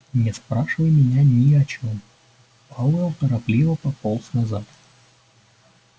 не спрашивай меня ни о чём пауэлл торопливо пополз назад